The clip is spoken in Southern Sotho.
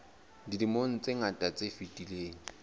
dilemong tse ngata tse fetileng